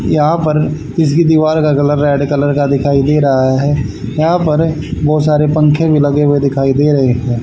यहा पर किसी की दीवार का कलर रेड कलर का दिखाई दे रहा है यहा पर बहुत सारे पंखे भी लगे हुए दिखाई दे रही है।